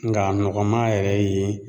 Nga a nɔgɔma yɛrɛ ye